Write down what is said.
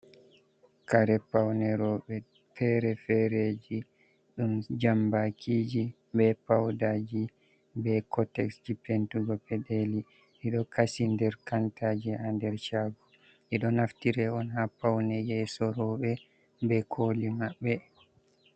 Kare paune roɓe fere-fereji ɗum jambakiji ɓe paudaji be kotes ji pentugo peɗeli ɓe ɗo kashidi nder kantaji ha nder shago be do naftira on ha pauneje yeso roɓe be koli maɓɓe.